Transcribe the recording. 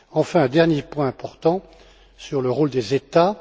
Enfin, le dernier point important est le rôle des États.